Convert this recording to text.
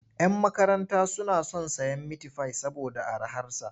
Yan makaranta suna son sayen mitifai saboda araharsa.